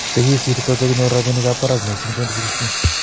Chekisirto chekinyor rabinik ab parak missing 2016